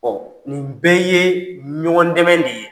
nin bɛɛ ye ɲɔgɔn dɛmɛ de ye.